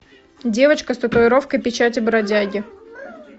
девочка с татуировкой печати бродяги